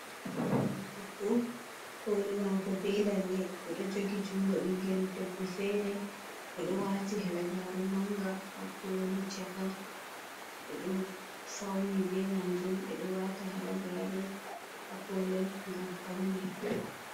Debbo koli mako be lalle, o ɗo jogi junngo ɓingel debbo feere, o ɗo wati halagare manga ha koli chaka, o ɗo fauni be majum. Ɓe ɗo wata halagare haa kolel ngam paune.